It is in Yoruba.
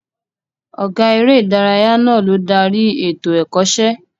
Ọ̀gá eré ìdárayá náà ló darí ètò Ẹ̀kọ́ṣẹ́